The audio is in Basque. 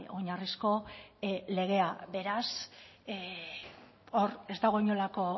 oinarrizko legea beraz hor ez dago inolako